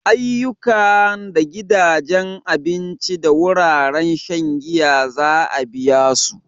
Ayyukan da gidajen abinci da wuraren shan giya za a biya su.